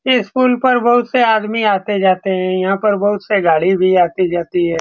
इस पूल पर बहुत से आदमी आते-जाते है। यहाँ पर बहुत सी गाड़ी भी आती-जाती है।